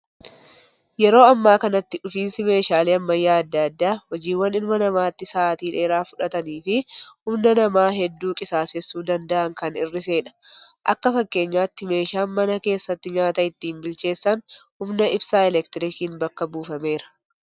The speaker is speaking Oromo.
Yeroo ammaa kanatti, dhufiinsi meeshaalee ammayyaa addaa addaa hojiiwwan ilma namaatti Saatii dheeraa fudhatanii fi humna namaa hedduu qisaasessuu danda'an kan hir'isedha. Akka fakkeenyaatti, meeshaan mana keessatti nyaata ittiin bilcheessan humna ibsaa eleektirikiin bakka buufameera.